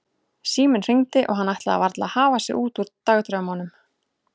Síminn hringdi og hann ætlaði varla að hafa sig út úr dagdraumunum.